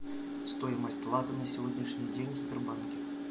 стоимость лата на сегодняшний день в сбербанке